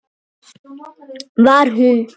Var hún?!